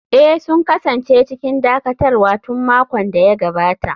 Eh, sun kasance cikin dakatarwa tun makon da ya gabata.